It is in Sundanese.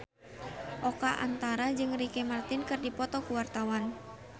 Oka Antara jeung Ricky Martin keur dipoto ku wartawan